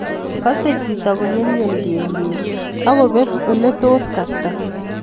Kasei chito konyelnyel kelyek ako pet ole tos kasta